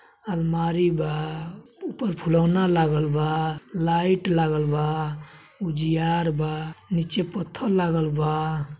अलमारी बा ऊपर फुलौना लागल बा लाइट लागल बा उजियार बा नीचे पत्थल लागल बा।